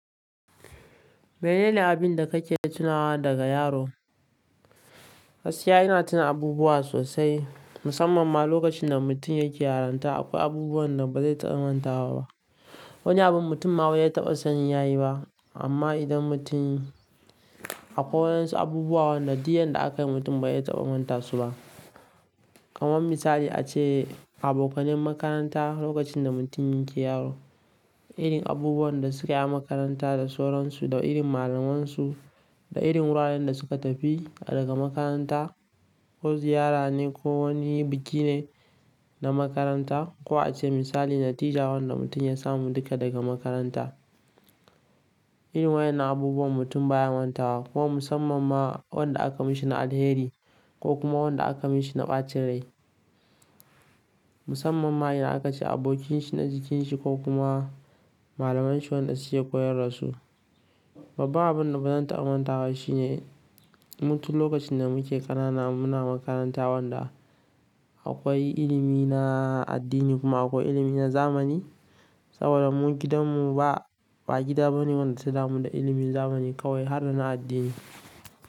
Menene abin da kake tunawa daga yaron? Gaskiya ina tuna abubuwa sosai, musamman ma lokacin da mutum yake yarinta. Akwai abubuwan da ba zan taɓa mantawa ba. Wani abin mutum ma bazai taɓa sanin yayi ba. Amma idan mutum akwai waɗansu abubuwan da duk yanda aka yi, mutum bazai taɓa manta su ba. Kamar misali ace abokanai makaranta lokacin da mutum yake yaro, irin abubuwan da suka yi a makaranta da sauransu da irin malamansu da irin wuraren da suka tafi daga makaranta, ko ziyara ne ko wani biki ne na makaranta. Ko a ce misali, natija wanda mutum ya samu duka daga makaranta. Irin wayen na abubuwan mutum baya mantawa, ko musamman ma waɗanda aka mishi na alheri ko kuma waɗanda aka mishi na ɓacin rai. Musamman ma in aka ci abokanshi na jikanshi ko kuma malamanshi wanda suke koyarwar su. Babban abin da bazan taɓa mantawa shi ne, mu tun lokacin da muke ƙanana muna makaranta wanda akwai ilimi na addini kuma akwai ilimi na zamani. Saboda mu gidanmu ba, ba gida bane wanda suka da mu da ilimin zamani kawai har da na addini.